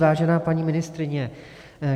Vážená paní ministryně.